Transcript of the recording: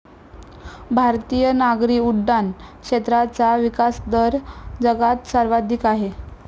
भारतीय नागरी उड्डाण क्षेत्राचा विकासदर जगात सर्वाधिक आहे.